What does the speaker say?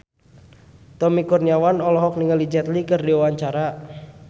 Tommy Kurniawan olohok ningali Jet Li keur diwawancara